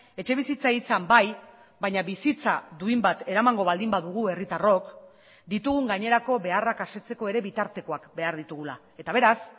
etxebizitza izan bai baina bizitza duin bat eramango baldin badugu herritarrok ditugun gainerako beharrak asetzeko ere bitartekoak behar ditugula eta beraz